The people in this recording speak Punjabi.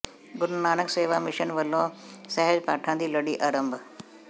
ਗੁਰੂ ਨਾਨਕ ਸੇਵਾ ਮਿਸ਼ਨ ਵਲੋਂ ਸਹਿਜ ਪਾਠਾਂ ਦੀ ਲੜੀ ਆਰੰਭ